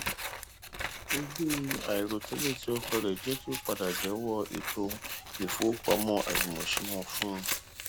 ogún àìròtẹlẹ ti ọkọ rẹ jẹ kí ó padà jẹwọ ètò ifowópamọ àjùmọṣe wọn fún un